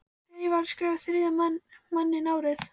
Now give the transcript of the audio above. Þegar ég var að skrifa Þriðja manninn árið